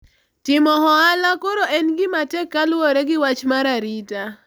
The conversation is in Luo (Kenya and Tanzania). timo ohala koro en gima tek kaluwore gi wach mar arita